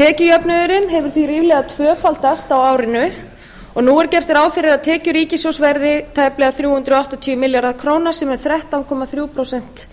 tekjujöfnuðurinn hefur því ríflega tvöfaldast á árinu og nú er gert ráð fyrir að tekjur ríkissjóðs verði tæplega þrjú hundruð áttatíu milljarðar króna sem er þrettán komma þrjú prósent